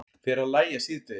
Fer að lægja síðdegis